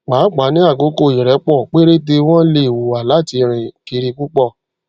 pàápàá ní àkókò ìrẹpọ péréte wọn lè hùwà láti rìn kiri púpọ